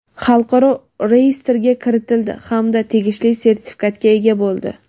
xalqaro reyestrga kiritildi hamda tegishli sertifikatga ega bo‘ldi.